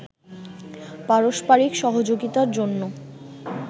পারস্পারিক সহযোগিতার জন্য